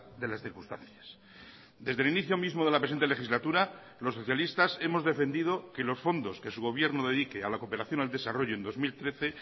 de las circunstancias desde el inicio mismo de la presente legislatura los socialistas hemos defendido que los fondos que su gobierno dedique a la cooperación al desarrollo en dos mil trece